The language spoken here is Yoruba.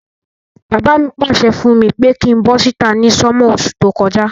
Bàbá mi pàsẹ fùn mi pe kin bo síta ni summer osú to kojá